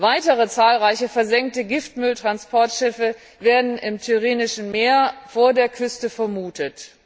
Weitere zahlreiche versenkte Giftmülltransportschiffe werden im Tyrrhenischen Meer vor der Küste vermutet.